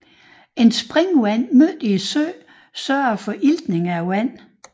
Et springvand midt i søen sørger for iltning af vandet